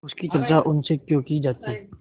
उसकी चर्चा उनसे क्यों की जाती